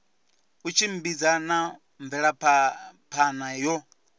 u tshimbidza na mvelaphana yo